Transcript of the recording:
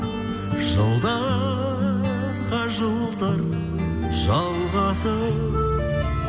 жылдарға жылдар жалғасып